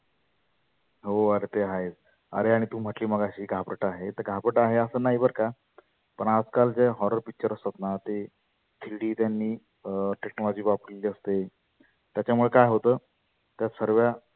हो आरे ते आहेच. आरे आणि तु म्हटली मगाशी घाबरट आहे तर घाबरट आहे असं नाही बर का पण आज काल जे horror picture असतातना ते three D त्यांनी अं technology वापरलेली असते. त्याच्यामुळ काय होतं त्या सर्व्या